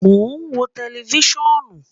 Mo n wo tẹlifisiọnu